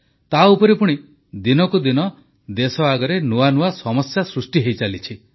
ତାଉପରେ ପୁଣି ଦିନକୁ ଦିନ ଦେଶ ଆଗରେ ନୂଆ ନୂଆ ସମସ୍ୟା ସୃଷ୍ଟି ହୋଇଚାଲିଛି